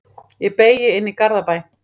Ég beygi inn í Garðabæ.